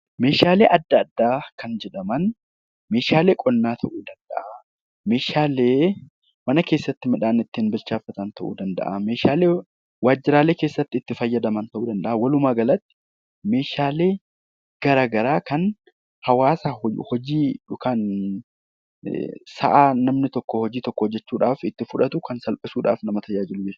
Meeshaalee adda addaa kan jedhaman meeshaalee qonnaa ta'uu danda'a, meeshaalee mana keessatti midhaan ittiin bilcheefatan ta'uu danda'a, meeshaalee waajjiralee keessatti itti fayyadaman ta'uu danda'a walumaagalatti meeshaalee garagaraa kan hawaasa hojii yookaan sa'aa namni tokko hojii tokko hojjechuudhaaf itti fudhatu kan salphisuudhaaf nama tajaajilu jechuudha.